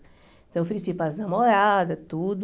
Então, oferecia para as namoradas, tudo.